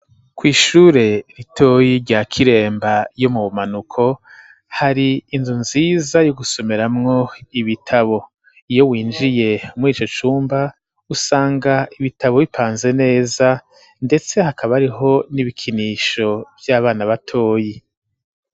Kw'ishure ritoyi rya kiremba yo mu bumanuko hari inzu nziza y'ugusumeramwo ibitabo iyo winjiye mw'ico cumba usanga ibitabo bipanze neza, ndetse hakabariho n'ibikinisho vy'abana batoyi.